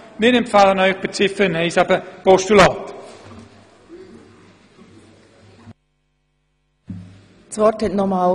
Wir empfehlen Ihnen, Ziffer 1 als Postulat zu überweisen.